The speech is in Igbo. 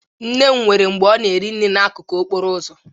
Nne m nwere mgbe ọ na-ere nri n'akụkụ okporo ụzọ